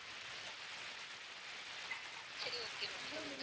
சரி okay ma'am சொல்லுங்க